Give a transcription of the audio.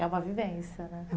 É uma vivência, né?